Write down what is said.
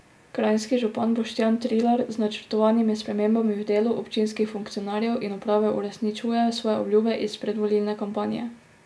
Kranjski župan Boštjan Trilar z načrtovanimi spremembami v delu občinskih funkcionarjev in uprave uresničuje svoje obljube iz predvolilne kampanje.